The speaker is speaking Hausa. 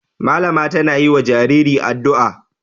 Malama tana yi wa jariri addu'a.